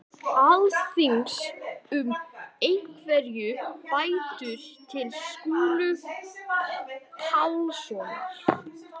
Alþingis um einhverjar bætur til Skúla Pálssonar.